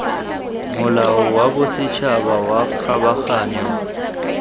molao wa bosetšhaba wa kgabaganyo